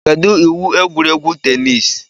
Kedu iwu egwuregwu teniisi?